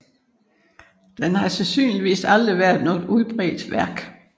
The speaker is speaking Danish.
Det har sandsynligvis aldrig været noget udbredt værk